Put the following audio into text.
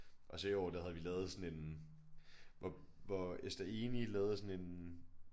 Og så i år der havde vi lavet sådan en hvor hvor Ester Enig lavede sådan en